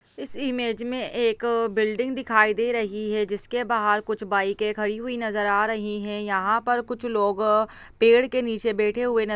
इस इमेज में एक अ बिल्डिंग दिखाई दे रही है जिसके बाहर कुछ बाईक्स खड़ी हुई नजर आ रही है यहां पर कुछ लोग अ पेड़ के नीचे बैठे हुए नजर --